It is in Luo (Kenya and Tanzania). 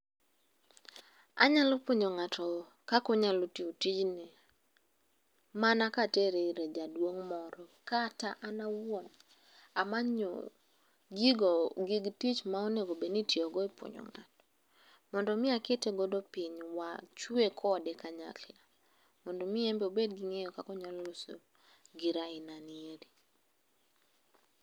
Anyalo puonjo ng'ato kaka onyalo tiyo tijni mana katere ir jaduong' moro, kata an awuon amanyo gigo, gig tich ma onego bed ni itiyogo e puonjo ng'ato. Mondo mi akete godo piny, wachwe kode kanyakla mondo mi en bende obed gi ng'eyo kaka onyalo uso gir ainanieri.